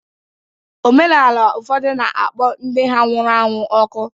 Omenala ụfọdụ na-akpọ ndị ha nwụrụ anwụ ọkụ